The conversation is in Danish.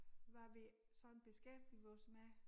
Hvad vi sådan beskæftiger os med